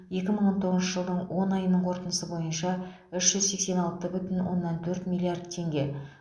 екі мың он тоғызыншы жылдың он айының қорытындысы бойынша үш жүз сексен алты бүтін оннан төрт миллиард теңге